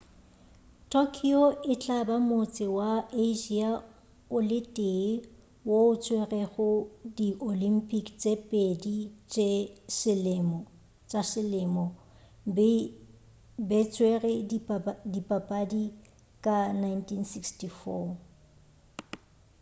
tokyo e tla ba motse wa asia o le tee wo o tswerego di olympic tše pedi tša selemo be tswere dipapadi ka 1964